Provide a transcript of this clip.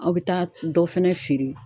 Aw bɛ taa dɔ fɛnɛ feere.